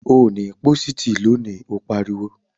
Ò ní pósìtì lónìí, ó pariwo!